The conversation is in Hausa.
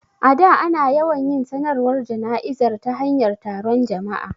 A da, ana yawan yin sanarwar jana'izar ta hanyar taron jama'a.